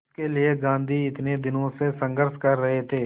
जिसके लिए गांधी इतने दिनों से संघर्ष कर रहे थे